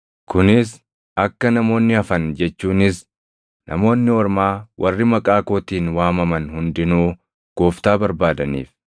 kunis akka namoonni hafan jechuunis, Namoonni Ormaa warri maqaa kootiin waamaman hundinuu gooftaa barbaadaniif’ + 15:17 \+xt Amo 9:11,12\+xt*